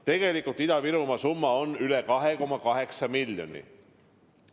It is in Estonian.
Tegelikult on Ida-Virumaa summa üle 2,8 miljoni.